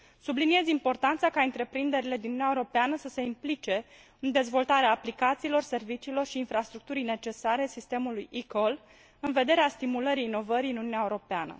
Subliniez importanța ca întreprinderile din Uniunea Europeană să se implice în dezvoltarea aplicațiilor, serviciilor și infrastructurii necesare sistemului eCall în vederea stimulării inovării în Uniunea Europeană.